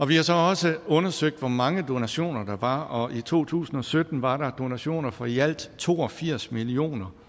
vi har så også undersøgt hvor mange donationer der var og i to tusind og sytten var der donationer for i alt to og firs million